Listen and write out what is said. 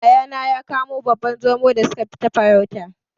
Yayana ya kamo babban Zomo da suka tafi farauta.